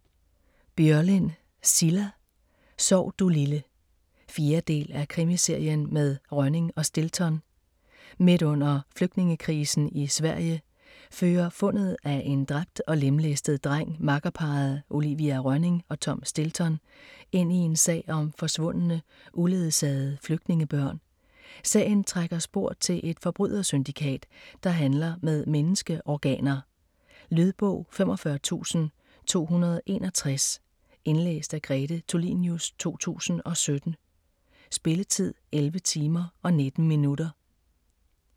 Börjlind, Cilla: Sov du lille 4. del af Krimiserien med Rönning og Stilton. Midt under flygtningekrisen i Sverige fører fundet af en dræbt og lemlæstet dreng makkerparret Olivia Rönning og Tom Stilton ind i en sag om forsvundne, uledsagede flygtningebørn. Sagen trækker spor til et forbrydersyndikat, der handler med menneskeorganer. Lydbog 45261 Indlæst af Grete Tulinius, 2017. Spilletid: 11 timer, 19 minutter.